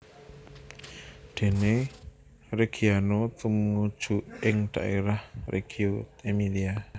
Dene Reggiano tumuju ing dhaérah Reggio Emilia